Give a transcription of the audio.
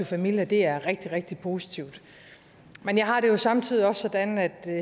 familia og det er rigtig rigtig positivt men jeg har det samtidig også sådan at